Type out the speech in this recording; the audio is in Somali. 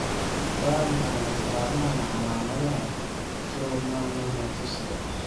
Waa maxay astamaha iyo calaamadaha Schwannomatosiga?